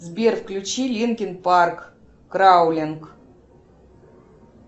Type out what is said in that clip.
сбер включи линкин парк краулинг